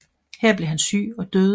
Her blev han syg og døde